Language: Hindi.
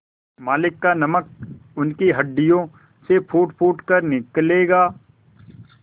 मालिक का नमक उनकी हड्डियों से फूटफूट कर निकलेगा